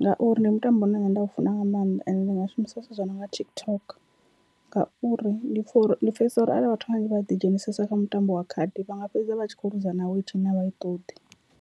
ngauri ndi mutambo une nda u funa nga maanḓa and ndi nga shumisa zwithu zwi nonga TikTok, ngauri ndi pfha uri ndi pfhesesa uri arali vhathu vhanzhi vha ḓi dzhenisesa kha mutambo wa khadi vha nga fhedza vha tshi kho luza na weight ine avha i ṱoḓi.